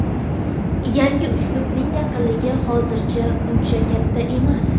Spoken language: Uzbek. Yangi uslubning aniqligi hozircha uncha katta emas.